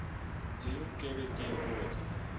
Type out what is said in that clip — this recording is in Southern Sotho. ding ke be ke ipotse